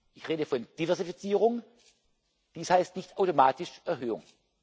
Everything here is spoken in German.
Ich rede von Diversifizierung, das heißt nicht automatisch Erhöhung.